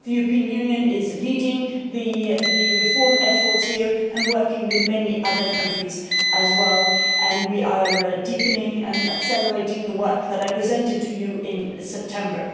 The European Union is leading the reform efforts here and working with many other countries as well, and we are deepening and accelerating the work that I presented to you in September.